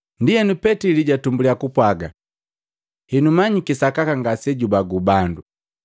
Ndienu Petili jatumbulya kupwaga, “Henu manyiki sakaka Sapanga ngasejubagu bando.